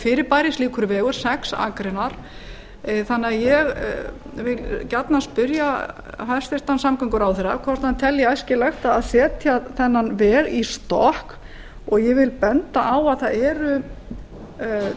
fyrirbæri slíkur vegur sex akreinar þannig að ég vil gjarnan spyrja hæstvirtan samgönguráðherra hvort hann telji æskilegt að setja þennan veg í stokk og ég vil benda á að það eru